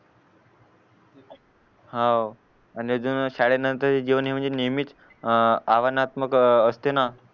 हाव शाळेनंतर जीवनानंतर नेहमीच अव्हानात्मक अह असते ना